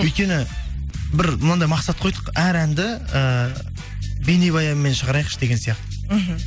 өйткені бір мынандай мақсат қойдық әр әнді ыыы бейнебаянмен шығарайықшы деген сияқты мхм